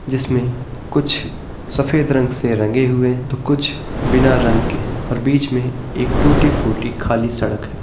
जिसमे कुछ सफेद रंग से रंगे हुए हैं तो कुछ बिना रंग के हैं और बीच मे एक टूटी-फूटी खाली सड़क है।